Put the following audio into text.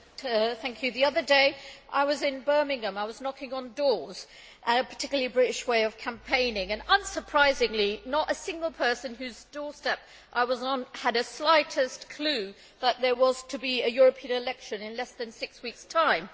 Mr President, the other day I was in Birmingham. I was knocking on doors a particularly British way of campaigning and, unsurprisingly, not a single person whose doorstep I was on had the slightest clue that there was to be a European election in less than six weeks' time.